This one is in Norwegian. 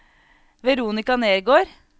Veronica Nergård